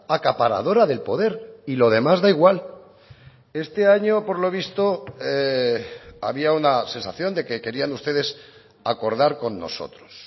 acaparadora del poder y lo demás da igual este año por lo visto había una sensación de que querían ustedes acordar con nosotros